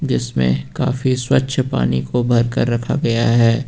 इसमें काफी स्वच्छ पानी को भरकर रखा गया है।